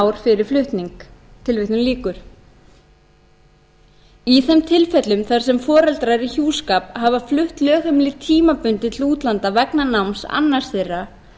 ár fyrir flutning í þeim tilfellum þar sem foreldrar í hjúskap hafa flutt lögheimili tímabundið til útlanda vegna náms annars þeirra